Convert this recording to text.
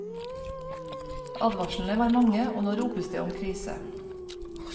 Advarslene var mange, og nå ropes det om krise.